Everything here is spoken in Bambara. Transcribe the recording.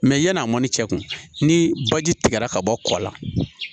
yan'a mɔni cɛ kun ni baji tigɛra ka bɔ kɔ la